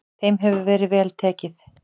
Þeim hefur verið vel tekið.